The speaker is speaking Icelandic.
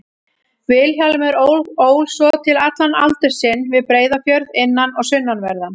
Vilhjálmur ól svo til allan aldur sinn við Breiðafjörð, innan- og sunnanverðan.